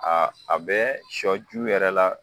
A a bɛ sɔ ju yɛrɛ la